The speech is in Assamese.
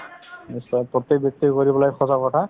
প্ৰতেক ব্যক্তিয়ে কৰিব লাগে সজাগতা